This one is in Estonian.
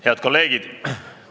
Head kolleegid!